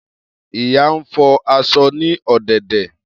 Iya n fọ aṣọ ni ọdẹdẹ.